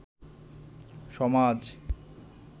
সমাজ